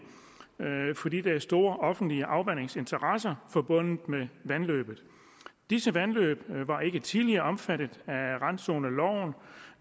fordi der er store offentlige afvandingsinteresser forbundet med vandløbet disse vandløb var ikke tidligere omfattet af randzoneloven